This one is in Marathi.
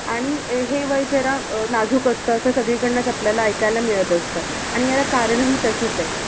आणि अह हे वय जरा अह नाजूक असतं असं सगळीकडनंच आपल्याला ऐकायला मिळत असतं. आणि ह्याला, कारण ही तशीच आहेत.